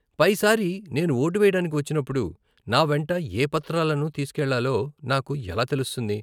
పైసారి నేను ఓటు వేయడానికి వచ్చినప్పుడు నా వెంట ఏ పత్రాలను తీసుకెళ్లాలో నాకు ఎలా తెలుస్తుంది?